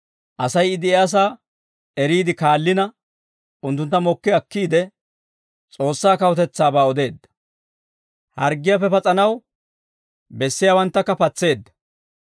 Asay I de'iyaasaa eriide kaallina, unttuntta mokki akkiide S'oossaa kawutetsaabaa odeedda; harggiyaappe pas'anaw bessiyaawanttakka patseedda.